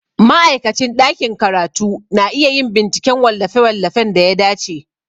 Ma'aikacin ɗakin karatu na iya yin binciken wallafe-wallafen da ya dace.